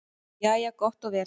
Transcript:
Jæja gott og vel.